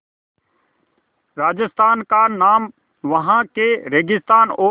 राजस्थान का नाम वहाँ के रेगिस्तान और